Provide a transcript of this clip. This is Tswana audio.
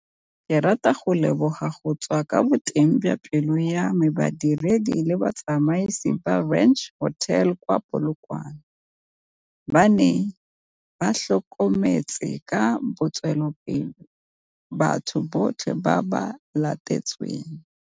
Ke rata go leboga go tswa kwa boteng jwa pelo ya me badiredi le batsamaisi ba Ranch Hotel kwa Polokwane, ba ba neng ba tlhokometse ka botswapelo batho botlhe ba ba latetsweng.